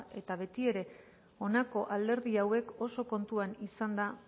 eta beti ere honako alderdi hauek oso kontuan izanda